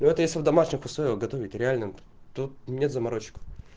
но это если в домашних условиях готовить реально тут нет заморочек